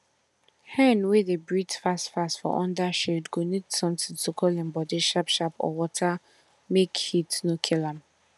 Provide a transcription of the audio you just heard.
hen wey dey breathe fast fast for under shade go need sometin to cool im body sharp sharp or water make heat no kill am